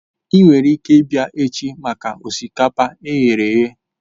Ị nwere ike ịbịa echi maka osikapa e ghere eghe